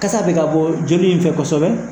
Kasa bɛ ka bɔ joli in fɛ kosɛbɛ.